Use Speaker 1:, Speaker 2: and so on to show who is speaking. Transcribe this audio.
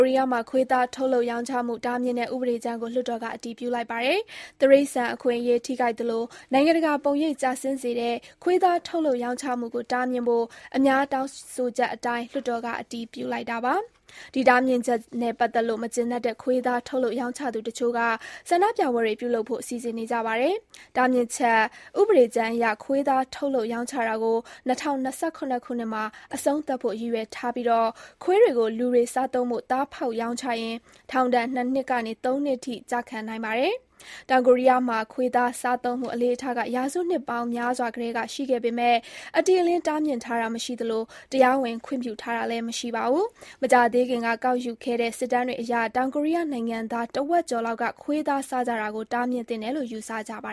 Speaker 1: ရီးယားမှာ ခွေးသားထုတ်လုပ်ရောင်းချမှု တားမြစ်တဲ့ ဥပဒေကြမ်းကို လွှတ်တော်က အတည်ပြုလိုက်ပါတယ်။ တိရစ္ဆာန်အခွင့်အရေး ထိခိုက်သလို နိုင်ငံတကာပုံရိပ်ကျဆင်းစေတဲ့ ခွေးသားထုတ်လုပ်ရောင်းချမှု ကို တားမြစ်ဖို့ အများတောင်းဆိုချက်အတိုင်း လွှတ်တော်က အတည်ပြုလိုက်တာပါ။ ဒီတားမြစ်ချက်နဲ့ ပတ်သက်လို့ မကျေနပ်တဲ့ ခွေးသား ထုတ်လုပ်ရောင်းချသူတချို့က ဆန္ဒပြပွဲတွေပြုလုပ်ဖို့ စီစဉ်နေကြပါတယ်။ တားမြစ်ချက် ဥပဒေကြမ်းအရ ခွေးသားထုတ်လုပ်ရောင်းချတာကို ၂၀၂၇ ခုနှစ်မှာ အဆုံးသတ်ဖို့ ရည်ရွယ်ထားပြီး ခွေးတွေကို လူတွေစားသုံးဖို့ သားဖောက်ရောင်းချရင် ထောင်ဒဏ် ၂ နှစ်ကနေ ၃ နှစ်ထိကျခံရနိုင်ပါတယ်။ တောင်ကိုရီးယားမှာ ခွေးသားစားသုံးမှု အလေ့အထက ရာစုနှစ်များစွာကတည်းက ရှိခဲ့ပေမဲ့ အတိအလင်းတားမြစ်ထားတာမရှိသလို တရားဝင်ခွင့်ပြုထားတာလည်း မရှိပါဘူး။ မကြာသေးခင်က ကောက်ယူခဲ့တဲ့ စစ်တမ်းတွေအရ တောင်ကိုရီးယားနိုင်ငံသား တဝက်ကျော်လောက်က ခွေးသားစားကြတာကို တားမြစ်သင့်တယ်လို့ ယ
Speaker 2: ူဆကြပါ